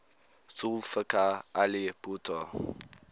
zulfikar ali bhutto